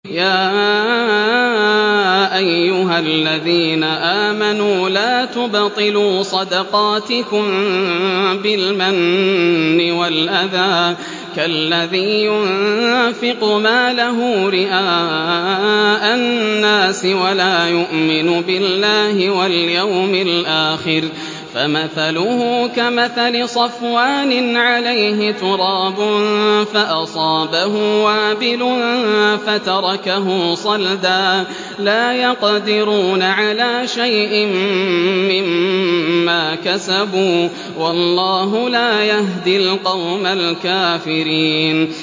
يَا أَيُّهَا الَّذِينَ آمَنُوا لَا تُبْطِلُوا صَدَقَاتِكُم بِالْمَنِّ وَالْأَذَىٰ كَالَّذِي يُنفِقُ مَالَهُ رِئَاءَ النَّاسِ وَلَا يُؤْمِنُ بِاللَّهِ وَالْيَوْمِ الْآخِرِ ۖ فَمَثَلُهُ كَمَثَلِ صَفْوَانٍ عَلَيْهِ تُرَابٌ فَأَصَابَهُ وَابِلٌ فَتَرَكَهُ صَلْدًا ۖ لَّا يَقْدِرُونَ عَلَىٰ شَيْءٍ مِّمَّا كَسَبُوا ۗ وَاللَّهُ لَا يَهْدِي الْقَوْمَ الْكَافِرِينَ